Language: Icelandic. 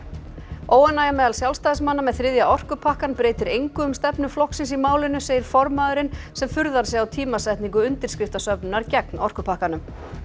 óánægja meðal Sjálfstæðismanna með þriðja orkupakkann breytir engu um stefnu flokksins í málinu segir formaðurinn sem furðar sig á tímasetningu undirskriftasöfnunar gegn orkupakkanum